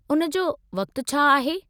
उन जो वक़्तु छा आहे?